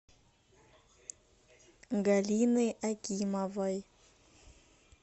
галины акимовой